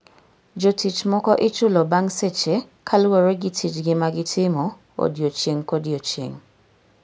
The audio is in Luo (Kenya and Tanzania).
Jotich moko ichulo bang seche kaluwore gi tijgi ma gitimo odiechieng' kodiechieng'.